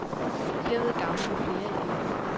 Derved gavner vi flere elever.